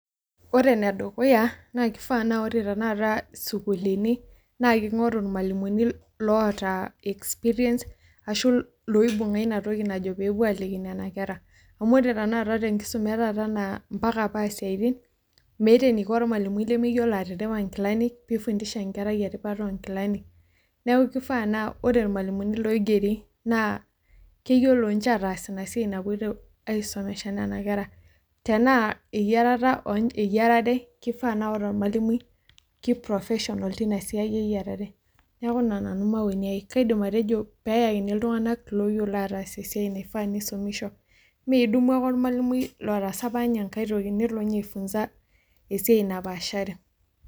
Ore enedukuya, na kifaa na ore tanakata sukuulini, na king'oru irmalimuni loota experience, ashu loibung'a inatoki najo pepuo aliki nena kera. Amu ore tanakata tenkisuma etaata naa mpaka paa isiaitin, meeta eniko ormalimui lemeyiolo atiripa nkilani, pi fundisha nkerai eripata onkilani. Neeku kifaa naa ore irmalimuni loigeri, naa keyiolo nche ataas inasiai napoito ai somesha nena kera. Tenaa eyiarata eyiarare, kifaa na ore ormalimui, ki professional tinasiai eyiarare. Neeku ina nanu maoni ai. Kaidim atejo peyakini iltung'anak loyiolo ataas esiai naifaa nisumisho. Meidumu ake ormalimui lotaasa apa nye enkai toki, nelo nye ai funza esiai napaashari.